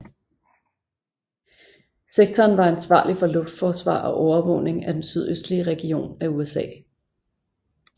Sektoren var ansvarlig for luftforsvar og overvågning af den sydøstlige region af USA